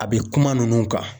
A be kuma nunnu kan